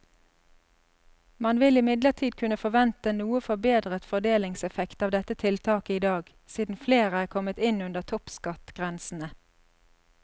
Man vil imidlertid kunne forvente noe forbedret fordelingseffekt av dette tiltaket i dag, siden flere er kommet inn under toppskattgrensene.